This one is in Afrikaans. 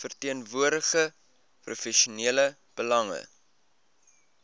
verteenwoordig provinsiale belange